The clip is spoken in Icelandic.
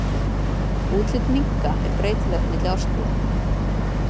Útlit minka er breytilegt milli árstíða.